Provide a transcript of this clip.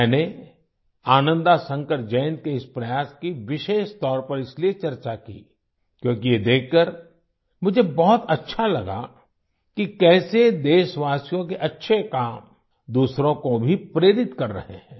मैंने आनंदा शंकर जयंत के इस प्रयास की विशेषतौर पर इसलिए चर्चा की क्योंकि ये देखकर मुझे बहुत अच्छा लगा कि कैसे देशवासियों के अच्छे काम दूसरों को भी प्रेरित कर रहे हैं